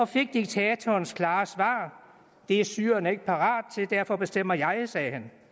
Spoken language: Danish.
fik diktatorens klare svar det er syrerne ikke parate til og derfor bestemmer jeg sagde han